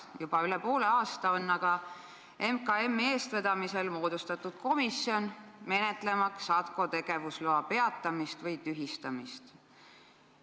Juba üle poole aasta tagasi moodustati MKM-i eestvedamisel komisjon, menetlemaks ATKO tegevusloa peatamist või tühistamist.